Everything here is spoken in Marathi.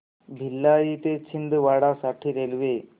भिलाई ते छिंदवाडा साठी रेल्वे